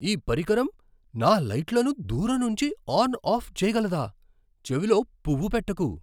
ఈ పరికరం నా లైట్లను దూరం నుంచి ఆన్ ఆఫ్ చేయగలదా? చెవిలో పువ్వు పెట్టకు!